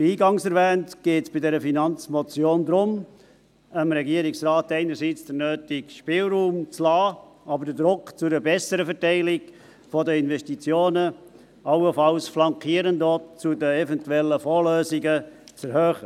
Wie eingangs erwähnt, geht es bei dieser Finanzmotion darum, dem Regierungsrat einerseits den nötigen Spielraum zu lassen, aber andererseits den Druck zu einer besseren Verteilung der Investitionen, allenfalls auch flankierend zu eventuellen Fondslösungen, zu erhöhen.